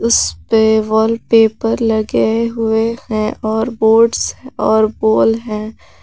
इसपे वॉलपेपर लगे हुए हैं और बोर्ड्स और है।